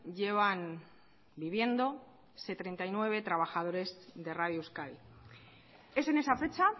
llevan viviendo setenta y nueve trabajadores de radio euskadi es en esa fecha